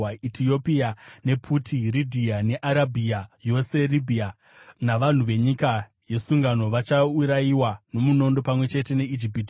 Etiopia nePuti, Ridhia neArabhia yose, Ribhiya navanhu venyika yesungano vachaurayiwa nomunondo pamwe chete neIjipiti.